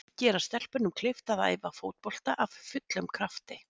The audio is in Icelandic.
Gera stelpunum kleift að æfa fótbolta af fullum krafti.